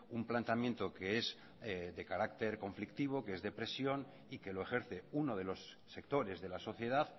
un planteamiento que es de carácter conflictivo que es de presión y que lo ejerce uno de los sectores de la sociedad